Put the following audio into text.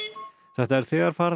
þetta er þegar farið